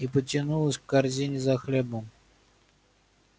и потянулась к корзине за хлебом